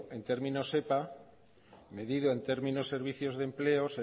en términos epa medido en términos servicios de empleo